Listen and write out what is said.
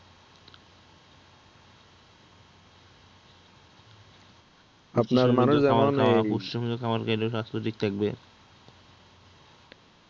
সময়মতো খাবার খেলে স্বাস্থ্য ঠিক থাকবে